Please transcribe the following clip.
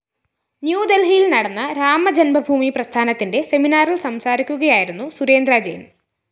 ന്യൂദൽഹിയിൽ നടന്ന രാമജന്മഭൂമി പ്രസ്ഥാനത്തിന്റെ സെമിനാറില്‍ സംസാരിക്കുകയായിരുന്നു സുരേന്ദ്ര ജെയ്ന്‍